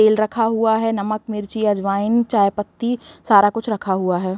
तेल रखा हुआ है। नमक मिर्ची अजवायन चाय पत्ती सारा कुछ रखा हुआ है।